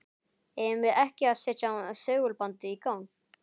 Eigum við ekki að setja segulbandið í gang?